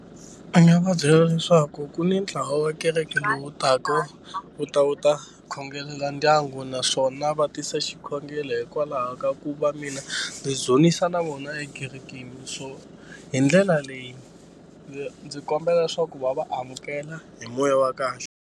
A nga va byela leswaku ku ni ntlawa wa kereke lowu taka wu ta wu ta khongelela ndyangu naswona va tisa xikhongelo hikwalaho ka ku va mina ni dzunisa na vona ekerekeni so hi ndlela leyi ndzi ndzi kombela leswaku va va amukela hi moya wa kahle.